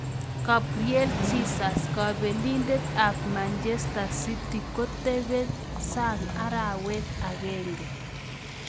Gabriel Jesus: kabelindet ab Manchester City kotebe sang arawet agenge.